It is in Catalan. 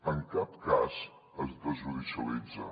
en cap cas es desjudicialitza